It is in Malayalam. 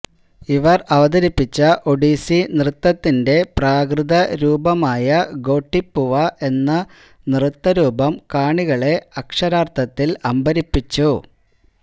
ഇവര് അവതരിപ്പിച്ച ഒഡീസി നൃത്തത്തിന്റെ പ്രാകൃതരൂപമായ ഗോട്ടിപ്പുവ എന്ന നൃത്തരൂപം കാണികളെ അക്ഷരാര്ത്ഥത്തില് അമ്പരപ്പിച്ചു